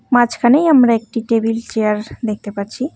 মাঝখানেই আমরা একটি table chair দেখতে পারছি।